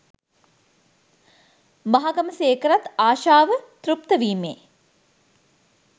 මහගමසේකරත් ආශාව තෘප්ත වීමේ